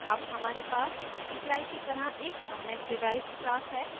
अब हमारे पास multiply की तरह एक अन्य डिराइव्ड class है